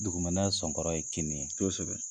Dugumɛnɛ sɔnkɔrɔ ye kinni ye kosɛbɛ.